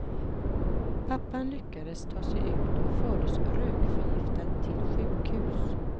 Pappan lyckades ta sig ut och fördes rökförgiftad till sjukhus.